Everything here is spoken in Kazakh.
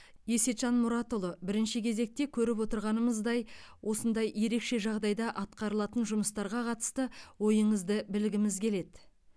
есетжан мұратұлы бірінші кезекте көріп отырғанымыздай осындай ерекше жағдайда атқарылатын жұмыстарға қатысты ойыңызды білгіміз келеді